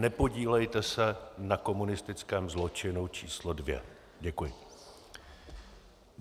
Nepodílejte se na komunistickém zločinu číslo 2. Děkuji.